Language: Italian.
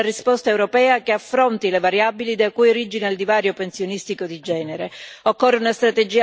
Occorre quindi dare una risposta europea che affronti le variabili da cui origina il divario pensionistico di genere.